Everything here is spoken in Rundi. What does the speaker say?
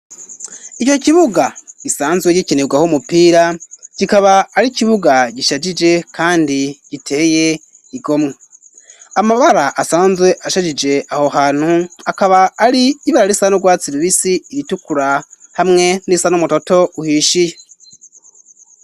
Ico kibuga gisanzwe gikinirwa aho umupira gikaba ari ikibuga gishajije, kandi giteye igomwe amabara asanzwe ashajije aho hantu akaba ari ibara risan' urwatsi lubisi iritukura hamwe n'isa n'umutoto uhishiye.